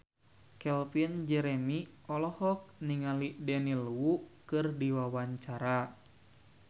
Calvin Jeremy olohok ningali Daniel Wu keur diwawancara